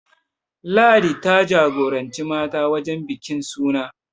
Ladi ta jagoranci mata wajen bikin suna